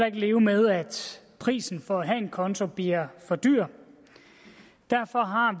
ikke leve med at prisen for at have en konto bliver for dyr derfor har